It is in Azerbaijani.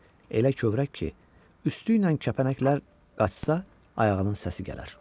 Elə kövrək ki, üstü ilə kəpənəklər qaçsa, ayağının səsi gələr.